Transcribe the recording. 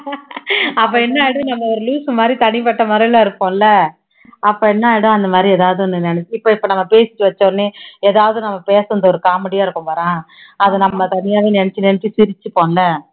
அப்போ என்னன்னா நம்ம ஒரு loose உ மாதிரி தனிப்பட்ட முறையில இருப்போம்ல அப்போ என்னன்னா அந்த மாதிரி எதாவது ஒண்ணு நினைச்சி இப்போ இப்போ நம்ம பேசிட்டு வச்ச உடனே எதாவது ஒண்ணு நம்ம பேசுனது ஒரு comedy ஆ இருக்கும் பாரேன் அதை நம்ம தனியாவே நினைச்சு நினைச்சு சிரிச்சுப்போம்ல